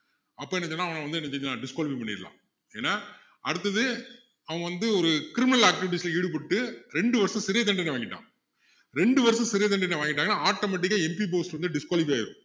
அப்போ என்ன செய்யலாம் அவனை வந்து disqualify பண்ணிடலாம் ஏன்னா அடுத்தது அவன் வந்து ஒரு criminal activities ல ஈடுபட்டு ரெண்டு வருஷம் சிறைத் தண்டனை வாங்கிட்டான் ரெண்டு வருஷம் சிறைத் தண்டனை வாங்கிட்டான்னா automatic ஆ MP post வந்து disqualify ஆயிரும்